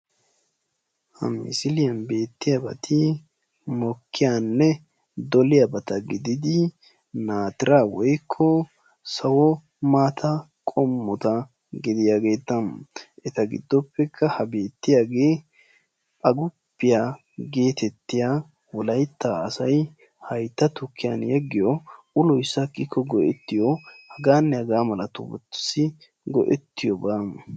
Ha misiliyan beettiyaabati mokkiyaanne doliyaa bata gididi naatira woikko sawo maata qommota gidiyaageetta eta giddoppekka ha beettiyaagee aguppiyaa geetettiya wolaytta asay haytta tukkiyan yeggiyo uloy sakikko go'ettiyo hagaanne hagaa mala tu wuttussi go'ettiyo baa